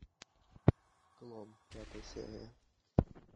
клон пятая серия